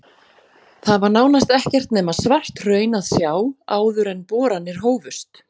Þar var nánast ekkert nema svart hraun að sjá áður en boranir hófust.